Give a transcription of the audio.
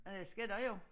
Ja det skal der jo